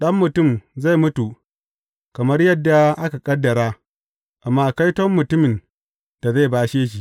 Ɗan Mutum zai mutu kamar yadda aka ƙaddara, amma kaiton mutumin da zai bashe shi.